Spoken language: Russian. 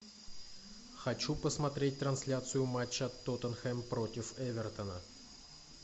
хочу посмотреть трансляцию матча тоттенхэм против эвертона